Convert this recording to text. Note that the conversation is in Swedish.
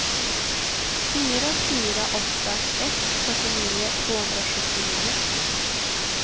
fyra fyra åtta ett fyrtionio tvåhundrasjuttionio